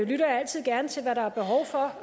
lytter jeg altid gerne til hvad der